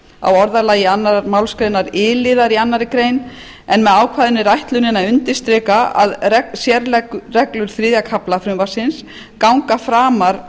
á orðalagi annarrar málsgreinar i liðar annarrar greinar en með ákvæðinu er ætlunin að undirstrika að sérreglur þriðja kafla frumvarpsins ganga framar